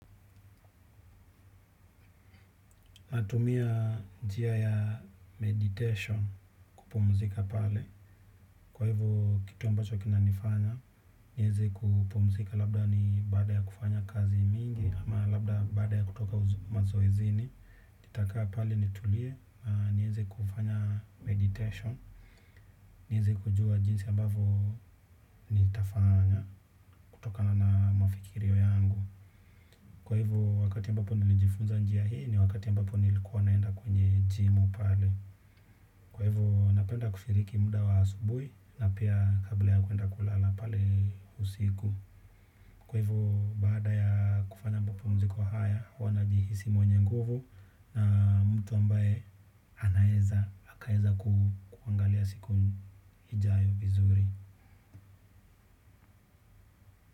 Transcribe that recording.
Natumia njia ya meditation kupumzika pale. Kwa hivo kitu ambacho kinanifanya, nieze kupumzika labda ni baada ya kufanya kazi mingi, ama labda baada ya kutoka mazoezini, itakaa pale nitulie, nieze kufanya meditation, nieze kujua jinsi ambavo nitafanya kutokana na mafikirio yangu. Kwa hivo, wakati ambapo nilijifunza njia hii ni wakati ambapo nilikuwa naenda kwenye jimu pale. Kwa hivyo, napenda kufiriki muda wa asubuhi na pia kabla ya kuenda kulala pale usiku. Kwa hivo, baada ya kufanya ambapo mapumziko haya, huwa najihisi mwenye nguvu na mtu ambaye anaeza, akaeza kuangalia siku ijayo vizuri.